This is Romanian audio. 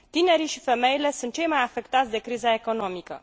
Tinerii și femeile sunt cei mai afectați de criza economică.